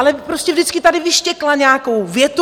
Ale prostě vždycky tady vyštěkla nějakou větu!